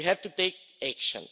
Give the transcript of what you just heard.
We have to take action.